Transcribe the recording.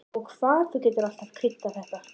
Og hvað þú getur alltaf kryddað þetta!